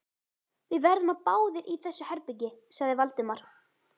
Við verðum báðir í þessu herbergi sagði Valdimar.